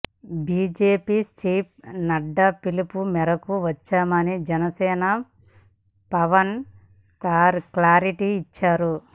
BJP chief Nadda పిలుపు మేరకు వచ్చామని జనసేనాని పవన్ క్లారిటీ ఇచ్చారు